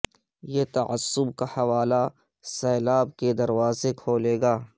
یہ تعصب کا حوالہ سیلاب کے دروازے کھولے گا